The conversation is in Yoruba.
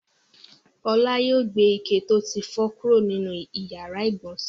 Ọlá yóò gbé ike tó ti fọ́ kúrò nínú ìyàrá-ìgbọ̀nsẹ̀.